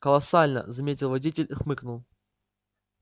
колоссально заметил водитель и хмыкнул